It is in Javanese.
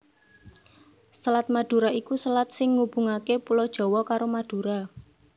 Selat Madura iku selat sing ngubungaké Pulo Jawa karo Madura